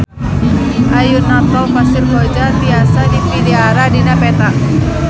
Ayeuna Tol Pasir Koja tiasa dipilarian dina peta